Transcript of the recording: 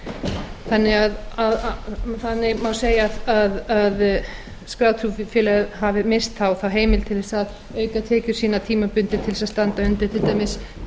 sem kirkjusóknir innan þjóðkirkjunnar þannig má segja að skráð trúfélög hafi misst þá þá heimild til þess að auka tekjur sínar tímabundið til þess að standa undir til dæmis